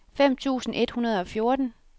fem tusind et hundrede og fjorten